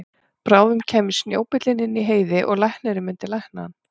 Bráðum kæmi snjóbíllinn inn í Heiði og læknirinn myndi lækna hann.